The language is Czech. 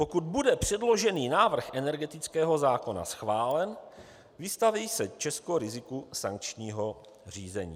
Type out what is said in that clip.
Pokud bude předložený návrh energetického zákona schválen, vystaví se Česko riziku sankčního řízení.